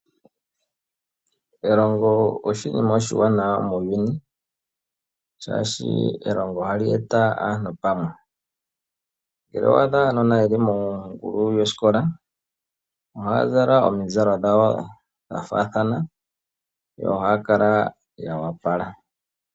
Elongo oshinima oshiwanawa muuyuni shaashi elomgo ohali eta aantu pamwe. Ngele owa adha aanona ye li mongulu yosikola ohaya zala omizalo dhawo dha faathana, yo ohaya kala ya opala.